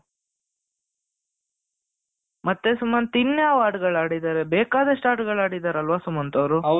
ಮತ್ತೆ ಸುಮಂತ್ ಇನ್ಯಾವಾಗ ಹಾಡುಗಳು ಆಡಿದ್ದಾರೆ ಬೇಕಾದಷ್ಟು ಹಾಡುಗಳು ಹಾಡಿದರಲ್ವಾ ಸುಮಂತ್ ಅವ್ರು